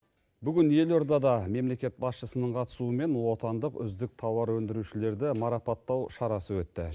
бүгін елордада мемлекет басшысынынң қатысуымен отандық үздік тауар өндірушілерді марапаттау шарасы өтті